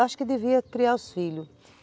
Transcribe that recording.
acho que devia criar os filhos.